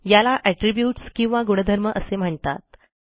याला एट्रिब्यूट्स किंवा गुणधर्म असे म्हणतात